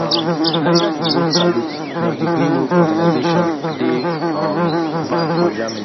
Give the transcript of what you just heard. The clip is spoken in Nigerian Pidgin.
um neither di wolf salute nor di grey wolves organisation dey um banned for germany